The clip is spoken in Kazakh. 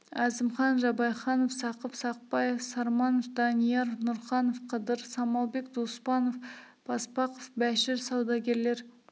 әзімхан жабайханов сақып сақбаев сарманов данияр нұрқанов қыдыр самалбек доспанов баспақов бәшір саудагерлер